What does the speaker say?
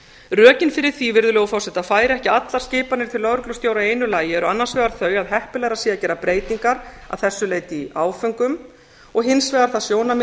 rökin fyrir því virðulegur forseti að færa ekki allar skipanir til lögreglustjóra í einu lagi eru annars vegar þau að heppilegra sé að gera breytingar að þessu leyti í áföngum og hins vegar það sjónarmið